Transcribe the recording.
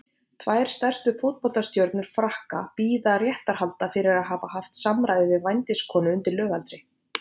Tvær stærstu fótboltastjörnur Frakka bíða réttarhalda fyrir að hafa haft samræði við vændiskonu undir lögaldri.